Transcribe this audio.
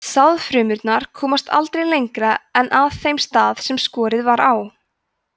sáðfrumurnar komast aldrei lengra en að þeim stað sem skorið var á